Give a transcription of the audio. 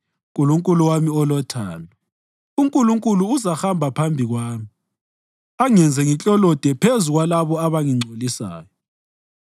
Nkulunkulu wami olothando. UNkulunkulu uzahamba phambi kwami angenze ngiklolode phezu kwalabo abangingcolisayo.